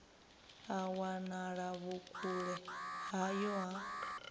ha wanala vhukule vhuyo ha